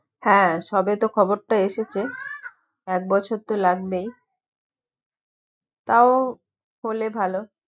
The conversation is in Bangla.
হ্যাঁ সবে তো খবর টা এসেছে এক বছর তো লাগবেই তও ভালো